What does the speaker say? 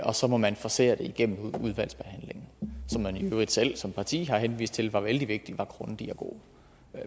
og så må man forcere det igennem udvalgsbehandlingen som man i øvrigt selv som parti har henvist til det var vældig vigtigt var grundig og god